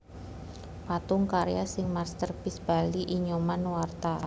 Patung karya sing masterpiece Bali I Nyoman Nuarta